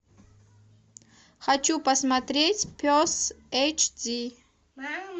хочу посмотреть пес эйч ди